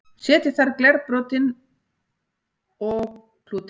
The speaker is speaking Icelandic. setja þarf glerbrotin og klútinn